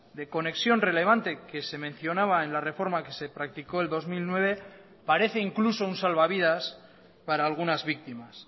de conexión relevante que se mencionaba en la reforma que se practicó el dos mil nueve parece incluso un salvavidas para algunas víctimas